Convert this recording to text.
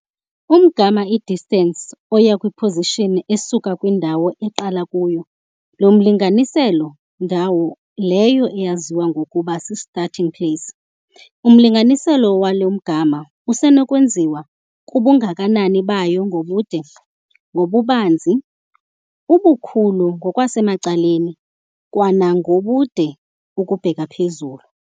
Umgama, i-distance, oya kwi-position esuka kwindawo oqala kuyo lo mlinganiselo, ndawo leyo eyaziwa ngokuba si-starting place, umlinganiselo walo mgama usenokwenziwa kubungakanani bayo ngobude, ngobubanzi, ubukhulu ngokwasemacaleni kwanangobude ukubheka phezulu.